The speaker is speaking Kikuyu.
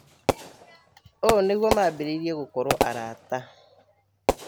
Ũũnĩguo maambĩrĩirie gũkorwo arata